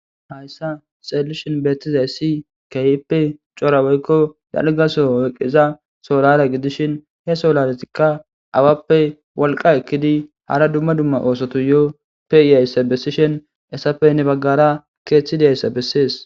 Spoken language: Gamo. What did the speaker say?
Hayssa xeelishon beettizayssi kahippe cora woykko dalga soho eqiza solara gidishin he soolaletikka awappe wolqa ekkidi hara dumma dumma oosoto yoo pe7iyayssa bessishen esafey ne baggara keeththidayssa bessees.